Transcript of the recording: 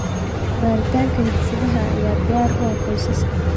Baaritaanka hidde-sidaha ayaa diyaar u ah qoysaskan.